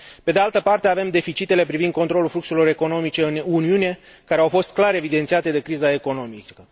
Pe de altă parte, avem deficitele privind controlul fluxurilor economice în Uniune, care au fost clar evidențiate de criza economică.